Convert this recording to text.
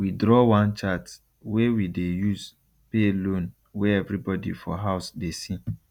we draw one chart wey we dey use pay loan wey everybody for house dey see